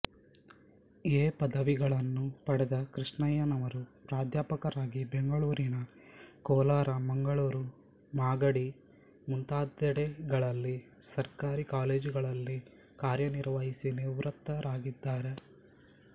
A ಪದವಿಗಳನ್ನು ಪಡೆದ ಕೃಷ್ಣಯ್ಯನವರು ಪ್ರಾಧ್ಯಾಪಕರಾಗಿ ಬೆಂಗಳೂರು ಕೋಲಾರ ಮಂಗಳೂರು ಮಾಗಡಿ ಮುಂತಾದೆಡೆಗಳಲ್ಲಿ ಸರ್ಕಾರಿ ಕಾಲೇಜುಗಳಲ್ಲಿ ಕಾರ್ಯನಿರ್ವಹಿಸಿ ನಿವೃತ್ತರಾಗಿದ್ದಾರೆ